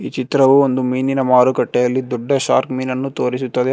ಚಿತ್ರವು ಒಂದು ಮೀನಿನ ಮಾರುಕಟ್ಟೆಯಲ್ಲಿ ದೊಡ್ಡ ಶಾರ್ಕ್ ಮೀನನ್ನು ತೋರಿಸುತ್ತದೆ.